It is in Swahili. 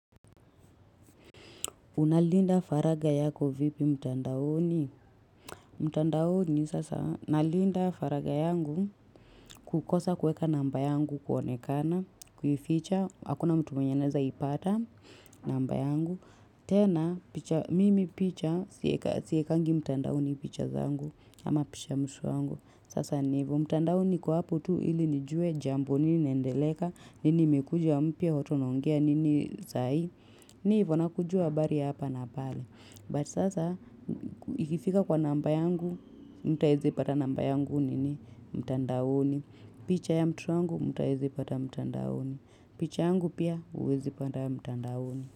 Unalinda faraga yako vipi mtandaoni? Mtandaoni sasa, nalinda faraga yangu kukosa kuweka namba yangu kuonekana, kuificha, hakuna mtu mwenye anaeza ipata namba yangu. Tena, mimi picha, siekangi mtandaoni picha zangu, ama picha mtoto wangu. Sasa ni ivo, mtandao niko hapo tu ili nijue jambo nini inaendeleka, nini imekuja mpya watu wanaongea nini sa hii. Ni hivo na kujua habari ya hapa na pale. But sasa ikifika kwa namba yangu, mtu aezi pata namba yangu nini mtandaoni. Picha ya mtoto wangu, mtu aezi pata mtandaoni. Picha yangu pia uwezi pata mtandaoni.